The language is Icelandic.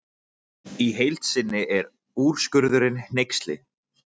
Í heild sinni er úrskurðurinn hneyksli